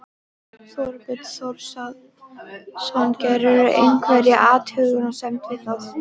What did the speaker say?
Þorbjörn Þórðarson: Gerirðu einhverja athugasemd við það?